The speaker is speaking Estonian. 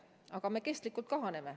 Aga meie rahvastik püsivalt kahaneb.